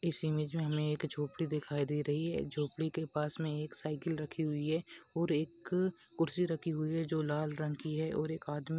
इस इमेज में हमें एक झोपड़ी दिखाई दे रही है झोपड़ी के पास में एक साइकिल रखी हुई है और एक कुर्सी रखी हुई है जो लाल रंग की है और एक आदमी--